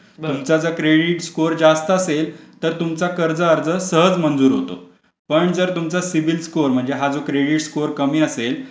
तर तो credit score पण व्यवस्थित चांगला असला पाहिजे तर तुम्हाला कर्ज मिळू शकतो तुमचे सर्व क्रेडिट रेकॉर्ड सांभाळलं पाहिजे तुमचा जर क्रेडिट स्कोर जास्त असेल तर तुमचा कर्ज अर्ज सहज मंजूर होतो. पण